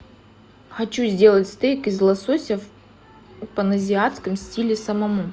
хочу сделать стейк из лосося в паназиатском стиле самому